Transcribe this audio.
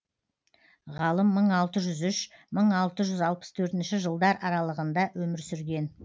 ғалым мың алты жүз үш мың алты жүз алпыс төртінші жылдар аралығында өмір сүрген